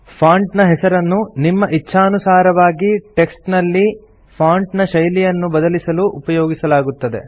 font ನ ಹೆಸರನ್ನು ನಿಮ್ಮ ಇಚ್ಛಾನುಸಾರವಾಗಿ ಟೆಕ್ಸ್ಟ್ ನಲ್ಲಿ ಫಾಂಟ್ ನ ಶೈಲಿಯನ್ನು ಬದಲಿಸಲು ಉಪಯೋಗಿಸಲಾಗುತ್ತದೆ